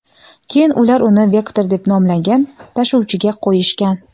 Keyin ular uni "vektor" deb nomlangan tashuvchiga qo‘yishgan.